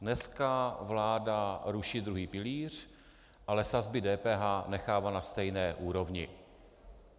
Dneska vláda ruší druhý pilíř, ale sazby DPH nechává na stejné úrovni.